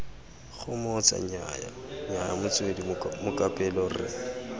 gomotsa nnyaya motswedi mokapelo re